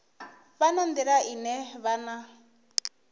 vha na nḓila ine vhana